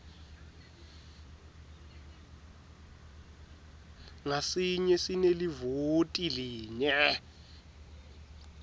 ngasinye sinelivoti linye